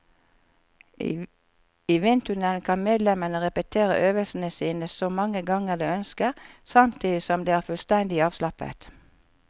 I vindtunnelen kan medlemmene repetere øvelsene sine så mange ganger de ønsker, samtidig som de er fullstendig avslappet.